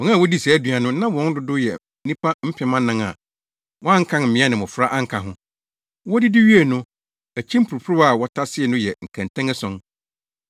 Wɔn a wodii saa aduan no, na wɔn dodow yɛ nnipa mpem anan a wɔankan mmea ne mmofra anka ho. Wodidi wiei no, akyi mporoporowa a wɔtasee no yɛɛ nkɛntɛn ason.